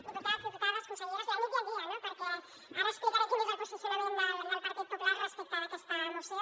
diputats diputades consellera la nit i el dia no perquè ara explicaré quin és el posicionament del partit popular respecte d’aquesta moció